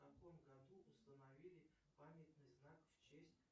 в каком году установили памятный знак в честь